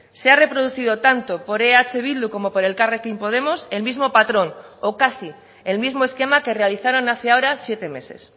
se ha reproducido tanto por eh bildu como por elkarrekin podemos el mismo patrón o casi el mismo esquema que realizaron hace ahora siete meses